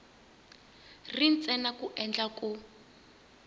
ri ntsena ku endlela ku